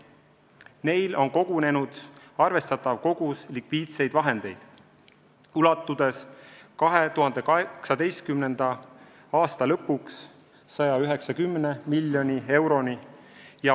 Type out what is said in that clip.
Neil on kogunenud arvestatav kogus likviidseid vahendeid, mis ulatuvad 2018. aasta lõpuks 190 miljoni euroni.